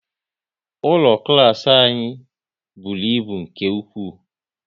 Ụlọ klas anyị bụrụ ịbụ nke ụkwụ